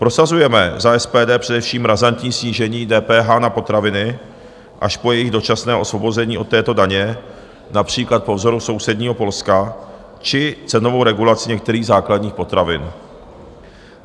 Prosazujeme za SPD především razantní snížení DPH na potraviny až po jejich dočasné osvobození od této daně, například po vzoru sousedního Polska, či cenovou regulaci některých základních potravin.